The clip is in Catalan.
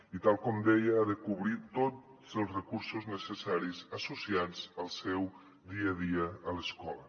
i tal com deia ha de cobrir tots els recursos necessaris associats al seu dia a dia a l’escola